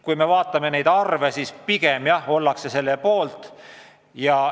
Kui me vaatame neid arve, siis näeme, et pigem ollakse selle poolt.